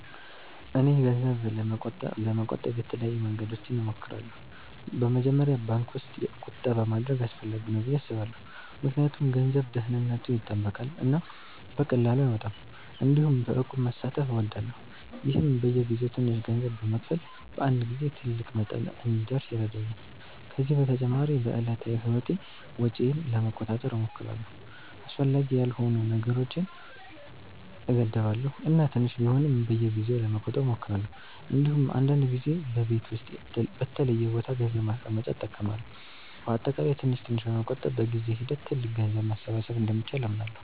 እኔ ገንዘብ ለመቆጠብ የተለያዩ መንገዶችን እሞክራለሁ። በመጀመሪያ ባንክ ውስጥ ቁጠባ ማድረግ አስፈላጊ ነው ብዬ አስባለሁ ምክንያቱም ገንዘቡ ደህንነቱ ይጠበቃል እና በቀላሉ አይወጣም። እንዲሁም በእቁብ መሳተፍ እወዳለሁ፣ ይህም በየጊዜው ትንሽ ገንዘብ በመክፈል በአንድ ጊዜ ትልቅ መጠን እንዲደርስ ይረዳኛል። ከዚህ በተጨማሪ በዕለታዊ ህይወቴ ወጪዬን ለመቆጣጠር እሞክራለሁ፣ አስፈላጊ ያልሆኑ ነገሮችን እገድባለሁ እና ትንሽ ቢሆንም በየጊዜው ለመቆጠብ እሞክራለሁ። እንዲሁም አንዳንድ ጊዜ በቤት ውስጥ በተለየ ቦታ ገንዘብ ማስቀመጫ እጠቀማለሁ። በአጠቃላይ ትንሽ ትንሽ በመቆጠብ በጊዜ ሂደት ትልቅ ገንዘብ ማሰባሰብ እንደሚቻል አምናለሁ።